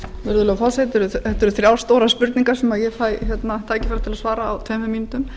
virðulegur forseti þetta eru þrjár stórar spurningar sem ég fæ tækifæri til að svara á tveim mínútum